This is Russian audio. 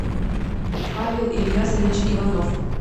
павел ильясович иванов